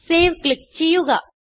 save click ചെയ്യുക